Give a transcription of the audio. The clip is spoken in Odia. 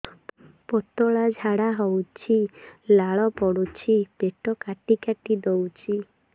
ପତଳା ଝାଡା ହଉଛି ଲାଳ ପଡୁଛି ପେଟ କାଟି କାଟି ଦଉଚି